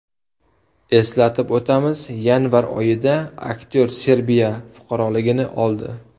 Eslatib o‘tamiz, yanvar oyida aktyor Serbiya fuqaroligini oldi .